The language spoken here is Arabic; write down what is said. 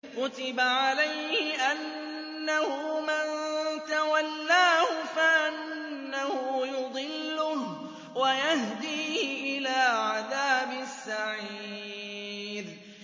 كُتِبَ عَلَيْهِ أَنَّهُ مَن تَوَلَّاهُ فَأَنَّهُ يُضِلُّهُ وَيَهْدِيهِ إِلَىٰ عَذَابِ السَّعِيرِ